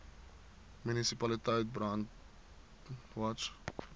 munisipaliteit brandwatch